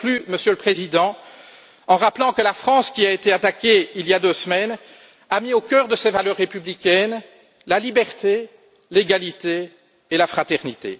Je conclus, Monsieur le Président, en rappelant que la France, qui a été attaquée il y a deux semaines, a mis au cœur de ses valeurs républicaines la liberté, l'égalité et la fraternité.